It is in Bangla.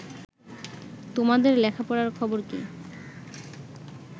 তোমাদের লেখাপড়ার খবর কি